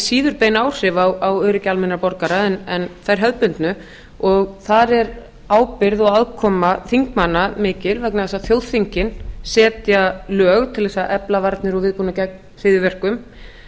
síður bein áhrif á öryggi almennra borgara heldur en þær hefðbundnu og þar er ábyrgð og aðkoma þingmanna mikil vegna þess að þjóðþingin setja lög til þess að efla varnir og viðbúnað gegn hryðjuverkum